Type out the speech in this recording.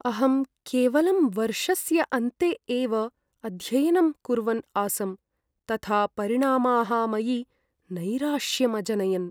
अहं केवलं वर्षस्य अन्ते एव अध्ययनं कुर्वन् आसम्, तथा परिणामाः मयि नैराश्यम् अजनयन्।